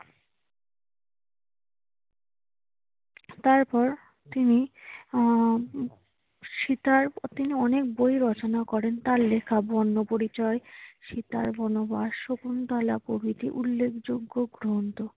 তারপর তিনি আহ স্বীকার তিনি অনেক বই রচনা করেন। তার লেখা বর্ণ পরিচয়, সীতার বনবাস, শকুন্তলা প্রভৃতি উল্লেখযোগ্য গ্রন্থ।